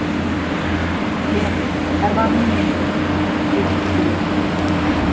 же тарбағанның еті депті серен